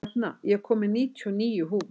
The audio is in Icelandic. Hrefna, ég kom með níutíu og níu húfur!